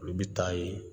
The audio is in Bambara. Olu bɛ taa ye